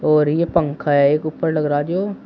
और ये पंखा है एक ऊपर लग रहा जो--